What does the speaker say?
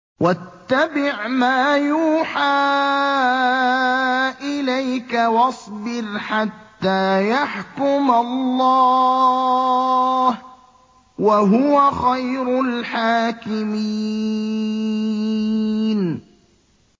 وَاتَّبِعْ مَا يُوحَىٰ إِلَيْكَ وَاصْبِرْ حَتَّىٰ يَحْكُمَ اللَّهُ ۚ وَهُوَ خَيْرُ الْحَاكِمِينَ